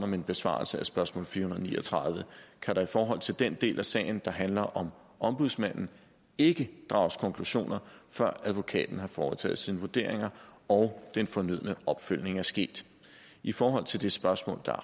min besvarelse af spørgsmål fire hundrede og ni og tredive kan der i forhold til den del af sagen der handler om ombudsmanden ikke drages konklusioner før advokaten har foretaget sine vurderinger og den fornødne opfølgning er sket i forhold til det spørgsmål der